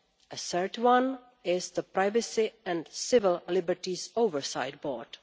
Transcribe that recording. A third one is the Privacy and Civil Liberties Oversight Board.